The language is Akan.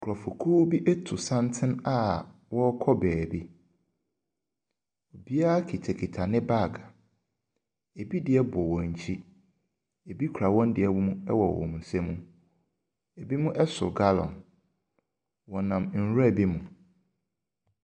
Nkurɔfokuo bi ato santene a wɔrekɔ baabi. Obiara kitakita ne bag. Ebi deɛ bɔn wɔn akyi, ebi kura wɔn deɛ my wɔ wɔn nsam, binom so gallon. Wɔnam nwura bi mu.